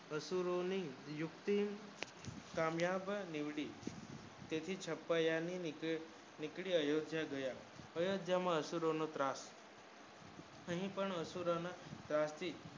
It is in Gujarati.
અસુરો ની યુક્તિ સમયપ નડી તેથી છપાયા ન નીકર અયોધ્યા ગયા અયોધ્યા માં અસુરો નો ત્રાસ અહીં કહી અસુરો ને